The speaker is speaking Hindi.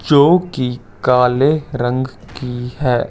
जो कि काले रंग की है।